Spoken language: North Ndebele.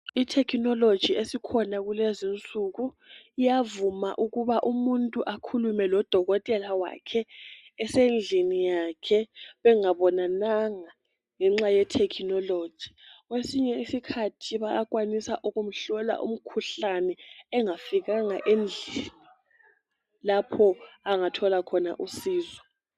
i technology esikhona kulezinsuku iyavuma ukuba umuntu ekhulume lodokotela wakhe esendlini yakhe bengabonananga ngenxa ye technology kwesinye isikhathi bayakwanisa ukumhlola umkhuhlane engafikanga endlini lapho angatholakhona usizo